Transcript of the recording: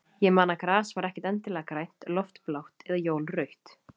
Ég man að gras var ekkert endilega grænt, loft blátt eða jól rautt.